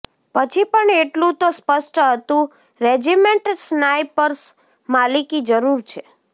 પછી પણ એટલું તો સ્પષ્ટ હતું રેજિમેન્ટ સ્નાઈપર્સ માલિકી જરૂર છે